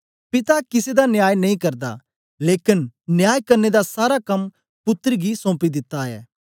पिता किसे दा न्याय नेई करदा लेकन न्याय करने दा सारा कम्म पुत्तर गी सौम्पी दित्ता ऐ